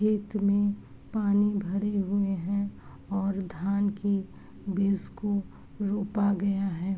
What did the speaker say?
खेत में पानी भरे हुए हैं और धान की बीज को रोपा गया है।